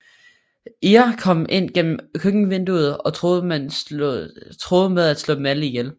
EAR kom ind gennem køkkenvinduet og truede med at slå dem alle ihjel